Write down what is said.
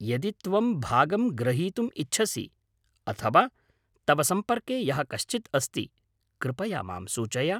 यदि त्वं भागं ग्रहीतुं इच्छसि अथवा तव सम्पर्के यः कश्चित् अस्ति, कृपया मां सूचय।